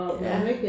Ja